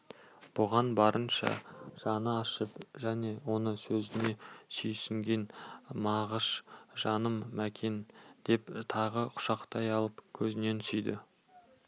бұған барынша жаны ашып және осы сөзіне сүйсінген мағыш жаным мәкен деп тағы құшақтай алып көзінен сүйді